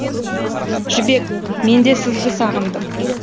жібек менде сізді сағындым